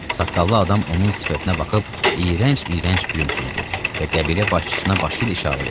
Saqqallı adam onun sifətinə baxıb iyrənc-iyrənc vülümsündü və qəbilə başçısına başı ilə işarə verdi.